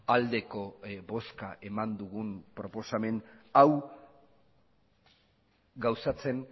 aldeko bozka eman dugun proposamen hau gauzatzen